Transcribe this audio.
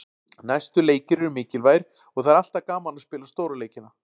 Næstu leikir eru mikilvægir og það er alltaf gaman að spila stóru leikina.